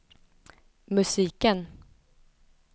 musiken